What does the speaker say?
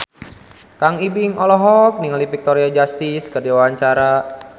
Kang Ibing olohok ningali Victoria Justice keur diwawancara